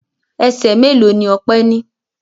Ẹsẹ̀ mélòó ni Ọpẹ́ ní?